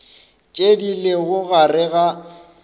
tše di lego gare ga